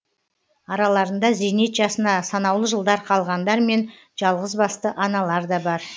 араларында зейнет жасына санаулы жылдар қалғандар мен жалғызбасты аналар да бар